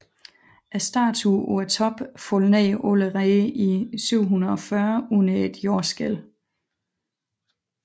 Statuen på toppen faldt ned allerede i 740 under et jordskælv